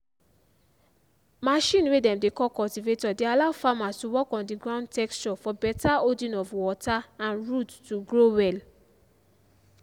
machine way dem dey call cultivator dey allow farmers to work on the ground texture for beta holding of water and root to grow well